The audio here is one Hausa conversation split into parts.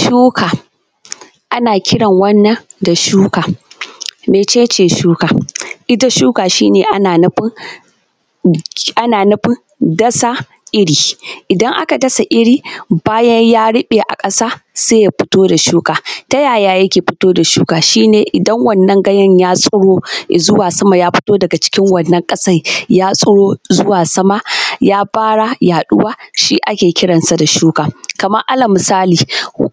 Shuka ana kiran wannan da shuka mece ce shuka? Ita shuka ana nufin dasa iri idan aka dasa iri bayan ya ruɓe a ƙasa se ya fito da shuka ta ‘ya’ya yake fito da shuka shi ne idan wannan ganyen ya tsiro i zuwa sama ya fito daga cikin wannan ƙasa, ya tsiro zuwa sama ya fara yaɗuwa shi ake kiransa da shuka. Kamar alal misali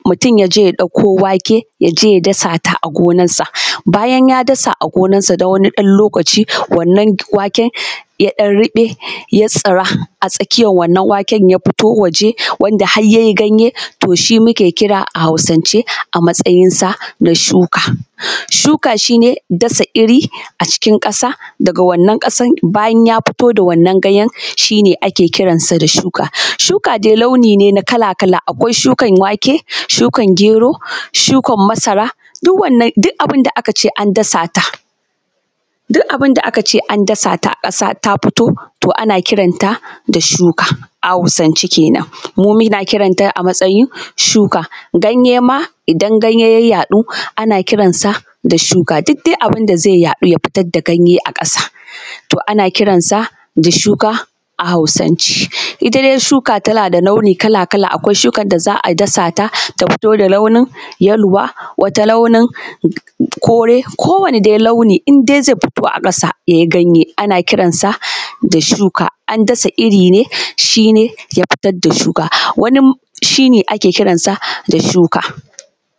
mutum ya je ya ɗauko wake, ya je ya dasata a gonansa bayan ya dasa a gonansa na ɗan wani lokaci wannan waken ya ɗan ruɓe ya tsira a tsakiyan wannna waken ya fito waje wanda har ya yi ganye to shi muke kira a Hausance a matsayinsa na shuka. Shuka shi ne dasa iri a cikin ƙasa da ga wannan ƙasan bayan ya fito da wannan ganyen shi ne ake kiransa da shuka. Shuka dai launi ne na kala-kalan abu, akwai shukan wake, shukan gero, shukan masara, duk wannan duk abun da aka ce an dasa ta a ƙasa ta fito to ana kiranta da shuka a Hausance. Kenan mu muna kiranta a matsayin suka ganye ma idan ganye ya yaɗu ana kiransa da shuka, duk dai abun da ze yaɗu ya fitar da ganye a ƙasa to ana kiransa da shuka a Hausance. Ita dai shuka tana da launi kala-kala, akwai shukan da za a dasa ta ta fito da launin yaluwa, wata launin kore ko wani dai launi indai ze fito a ƙasa ya yi ganye ana kiransa da shuka. An dasa iri ne shi ne ya fitar da shuka wani shi ne ake kiransa da shuka.